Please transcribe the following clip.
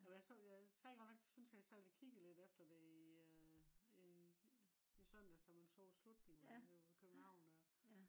øh hvad jeg sad godt nok synes jeg sad lidt kiggede efter det i søndags da man så slutningen det jo i københavn